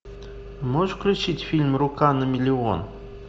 можешь включить фильм рука на миллион